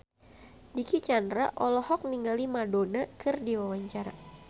Dicky Chandra olohok ningali Madonna keur diwawancara